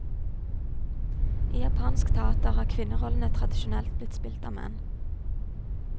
I japansk teater har kvinnerollene tradisjonelt blitt spilt av menn.